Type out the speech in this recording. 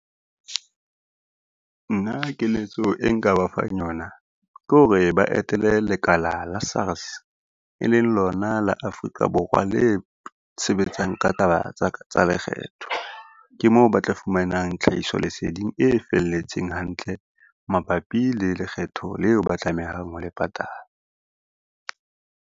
Nna keletso e nka ba fang yona, ke hore ba etele lekala la SARS, e leng lona la Afrika Borwa le sebetsang ka taba tsa lekgetho. Ke mo ba tla fumanang tlhahiso leseding e felletseng hantle mabapi le lekgetho leo ba tlamehang ho le patala.